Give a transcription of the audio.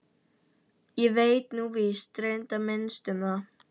Ég veit nú víst reyndar minnst um það.